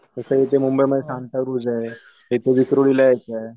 तस इथ मुंबईला सांता क्रूझ आहे विक्रोळी ला एक आहे.